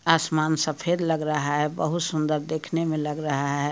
आसमान सफेद लग रहा है बहुत सुंदर देखने में लग रहा है।